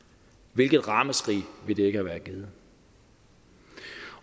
hvilket ramaskrig ville det ikke have givet